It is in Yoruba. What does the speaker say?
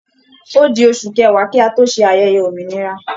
Ó di oṣù kẹwàá kí a tó ṣe ayẹyẹ òmìnira